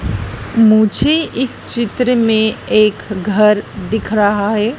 मुझे इस चित्र में एक घर दिख रहा है।